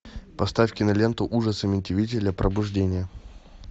поставь киноленту ужасы амитивилля пробуждение